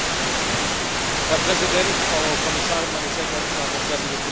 Herr Präsident, Frau Kommissarin, meine sehr geehrten Damen und Herren, liebe Kolleginnen und Kollegen!